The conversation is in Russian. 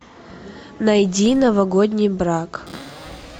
найди новогодний брак